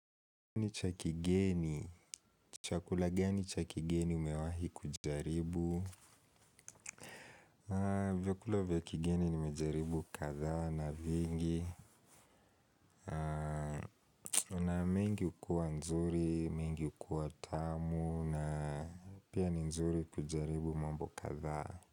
Ni cha kigeni. Chakula gani cha kigeni umewahi kujaribu? Vyakula vya kigeni nimejaribu kadhaa na vingi. Kuna mingi hukuwa nzuri, mingi hukuwa tamu na pia nzuri kujaribu mambo kadhaa.